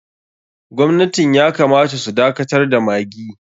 Gwamnatin ya kamata su dakatar da maggi.